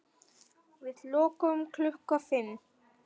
Við lokum klukkan fimm.